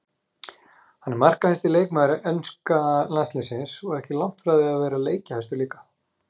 Hann er markahæsti leikmaður enska landsliðsins og ekki langt frá því að vera leikjahæstur líka.